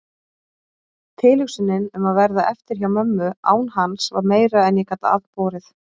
Tilhugsunin um að verða eftir hjá mömmu án hans var meira en ég gat afborið.